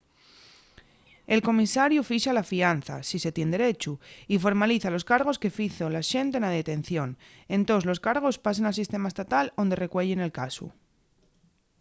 el comisariu fixa la fianza si se tien derechu y formaliza los cargos que fizo l'axente na detención entós los cargos pasen al sistema estatal onde recueyen el casu